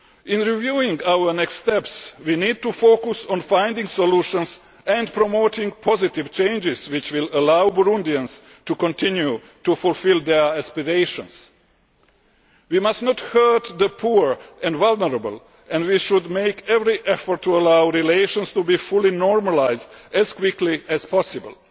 In reviewing our next steps, we need to focus on finding solutions and promoting positive changes which will allow Burundians to continue to fulfil their expectations. We must not hurt the poor and vulnerable, and we should make every effort to allow relations to be fully normalised as quickly as possible.